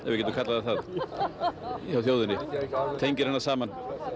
getur kallað það það hjá þjóðinni tengir hana saman